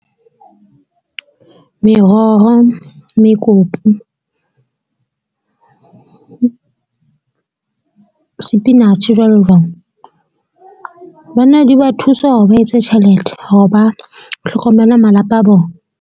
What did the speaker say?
Meroho, mekopu, sepinatjhe jwalo jwalo. Banna di ba thusa hore ba etse tjhelete hore ba hlokomele malapa a bona.